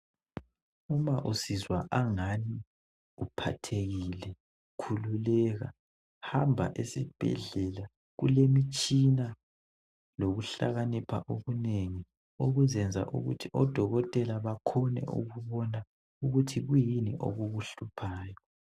Uma usizwa ngani uphathekile khululekanhanba esibhedlela kulemitshina lokuhlakanipha okunengi okuzayenza ukuthi odokotela bakhone ukubona ukuthi kuyini okukuhluphayo.